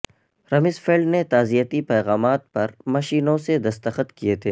Rumsfeld نے تعزیتی پیغامات پر مشینوں سے دستخط کیے تھے